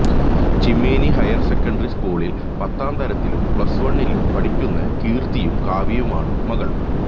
Cheemeni higher secondary സ്കൂളില് പത്താംതരത്തിലും plus വണ്ണിലും പഠിക്കുന്ന കീര്ത്തിയും കാവ്യയുമാണ് മക്കള്